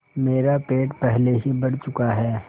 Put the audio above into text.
मेरा पेट पहले ही भर चुका है